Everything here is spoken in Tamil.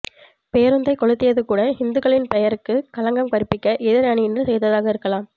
பேருந்தைக் கொளுத்தியது கூட ஹிந்துக்களின் பெயருக்குக் களங்கம் கற்பிக்க எதிர் அணியினர் செய்ததாகக் இருக்கலாம்